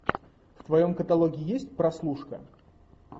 в твоем каталоге есть прослушка